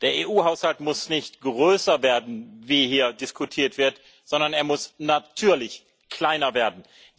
Der EU Haushalt muss nicht größer werden, wie hier diskutiert wird, sondern er muss natürlich kleiner werden.